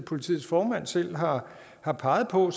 politiets formand selv har har peget på